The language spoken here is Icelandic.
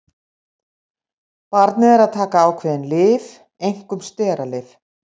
Barnið er að taka ákveðin lyf, einkum steralyf.